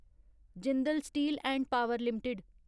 Jindal steel and power limited